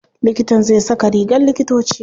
Likitan zai saka rigar likitoci.